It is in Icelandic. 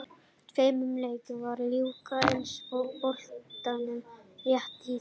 Tveim leikjum var að ljúka í enska boltanum rétt í þessu.